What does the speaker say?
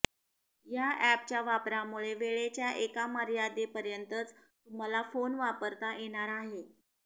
या अॅपच्या वापरामुळे वेळेच्या एका मर्यादेपर्यंतच तुम्हाला फोन वापरता येणार आहे